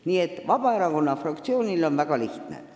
Nii et Vabaerakonna fraktsiooni arvates on asi väga lihtne.